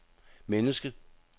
mennesket